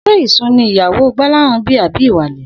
S̩é ìsun ni ìyàwó Gbó̩láhàn bí àbí ìwàlè̩?